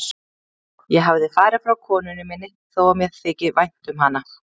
Ég hefði farið frá konunni minni þó að mér þyki vænt um hana.